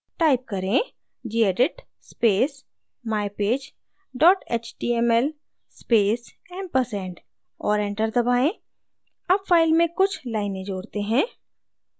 type करें: gedit space mypage html space ampersand और enter दबाएँ add file में कुछ लाइनें जोड़ते हैं